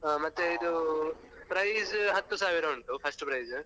ಹಾ ಮತ್ತೆ ಇದು prize ಹತ್ತು ಸಾವಿರ ಉಂಟು first prize .